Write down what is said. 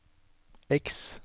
X